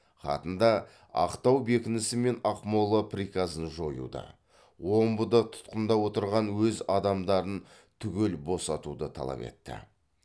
хатында ақтау бекінісі мен ақмола приказын жоюды омбыда тұтқында отырған өз адамдарын түгел босатуды талап етті